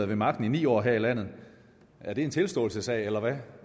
ved magten i ni år her i landet er det en tilståelsessag eller hvad